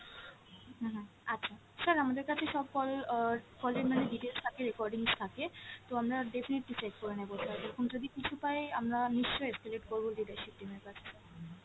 হম হম আচ্ছা, sir আমাদের কাছে সব call আহ call এর মানে details থাকে recordings থাকে তো আমরা definitely check করে নেবো sir এরকম যদি কিছু পাই আমরা নিশ্চই escalate করবো leadership team এর কাছে sir।